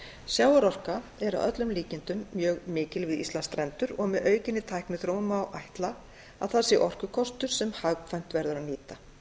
sjávarorka er að öllum líkindum mjög mikil við íslandsstrendur og með aukinni tækniþróun má ætla að þar sé orkukostur sem hagkvæmt verður að nýta